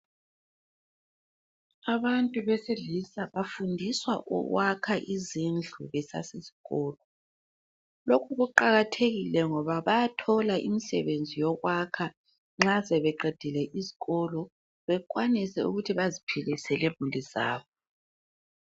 Abantu besilisa bafundiswa ukwakha izindlu besasesikolo. Lokhu kuqakathekile ngoba bayathola imisebenzi yokwakha nxa sebeqedile isikolo bekwanise ukuthi baziphilise lemuli zabo.